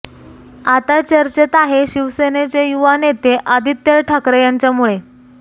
आता चर्चेत आहे शिवसेनेचे युवा नेते आदित्य ठाकरे यांच्यामुळे